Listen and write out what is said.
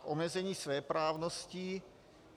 K omezení svéprávnosti.